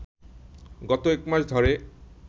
গত একমাস ধরে